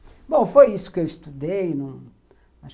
Bom, foi isso que eu estudei.